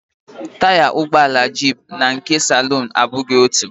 Taya ụgbọala jiipụ na nke saluun abụghị otú